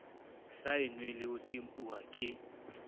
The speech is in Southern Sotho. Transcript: saennweng le ho tempuwa ke